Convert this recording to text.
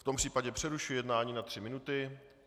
V tom případě přerušuji jednání na 3 minuty.